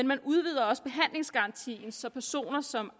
man udvider også behandlingsgarantien så personer som